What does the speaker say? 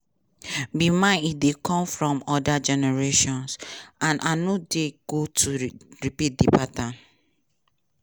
be mine e dey come from oda generations and i no dey go to repeat di pattern'.